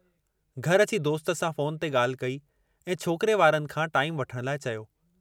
घर अची दोस्त सां फ़ोन ते ॻाल्हि कई ऐं छोकिरे वारनि खां टाईमु वठण लाइ चयो।